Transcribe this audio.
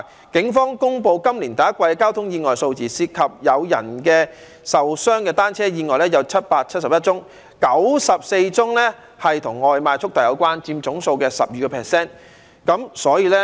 警方公布，今年第一季交通意外數字涉及有人受傷的電單車意外有771宗 ，94 宗與外賣速遞有關，佔總數的 12%。